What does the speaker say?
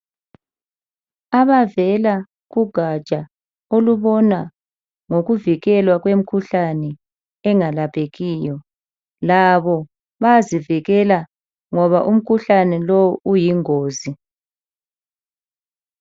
Abavela kugatsha olubona ngokuvikelwa kwemikhuhlane engalaphekiyo, labo bayazivikela ngoba umkhuhlane lo uyingozi.